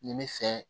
N ye n bɛ fɛ